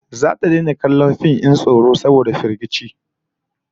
Zata daina kallon fim din tsoro saboda firgici